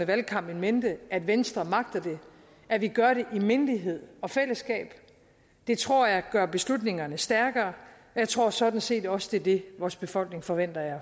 valgkamp in mente at venstre magter det at vi gør det i mindelighed og fællesskab det tror jeg gør beslutningerne stærkere og jeg tror sådan set også det er det vores befolkning forventer af